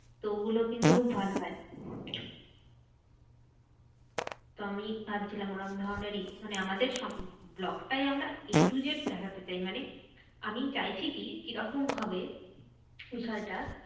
তো ওগুলো কিন্তু খুব ভালো হয়। তো আমি ভাবছিলাম ওরম ধরণেরই মানে আমাদের vlog টাই আমরা a to z দেখাতে চাই। মানে আমি চাইছি কি কিরকম হবে বিষয়টা?